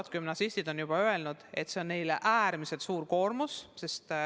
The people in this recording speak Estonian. Osa gümnasiste aga on öelnud, et see on neile äärmiselt suur koormus.